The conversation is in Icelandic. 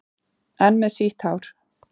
Enn með sítt hár.